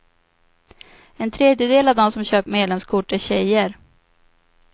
En tredjedel av dem som köpt medlemskort är tjejer.